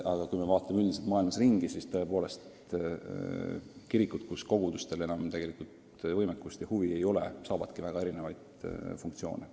Aga kui me vaatame maailmas ringi, siis on kirikutel, mille kogudustel enam võimekust ja huvi ei ole, väga erinevad funktsioonid.